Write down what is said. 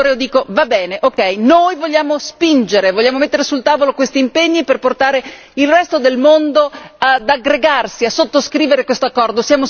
Allora, io dico, va bene noi vogliamo spingere, vogliamo mettere sul tavolo questi impegni per portare il resto del mondo ad aggregarsi, a sottoscrivere questo accordo.